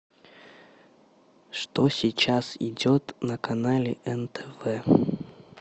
что сейчас идет на канале нтв